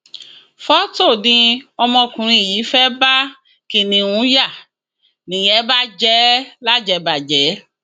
fọtò ni ọmọkùnrin yìí fẹẹ bá kiníùn yá nìyẹn bà jẹ lájẹbàjẹ